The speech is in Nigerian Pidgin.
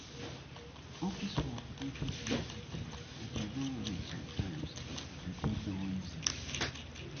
Office work no dey flexible and di environment sometimes de deyy noisy